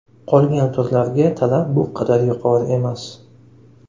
Qolgan turlarga talab bu qadar yuqori emas.